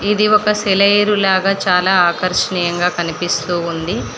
ఇది ఒక సెలయేరు లాగా చాలా ఆకర్షణీయంగా కనిపిస్తూ ఉంది.